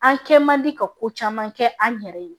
An kɛ man di ka ko caman kɛ an yɛrɛ ye